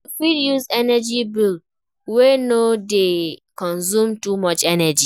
You fit use energy bulb wey no dey consume too much energy